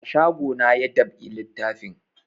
A shago na ya dab'i littafin